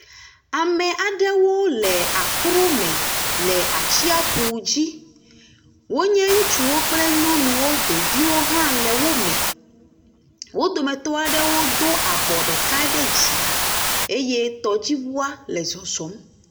Ame aɖewo le aklo me le atsiaƒu dzi. Wonye ŋutsuwo kple nyɔnuwo, ɖeviwo hã le wo me. Wo dometɔ aɖewo do abɔ ɖeka ɖe dzi eye tɔdziŋua le zɔzɔm.